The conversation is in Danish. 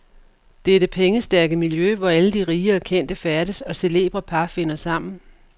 Det er det pengestærke miljø, hvor alle de rige og kendte færdes, og celebre par finder sammen.